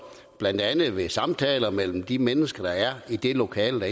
blandt andet ved samtaler mellem de mennesker der er i det lokale hvor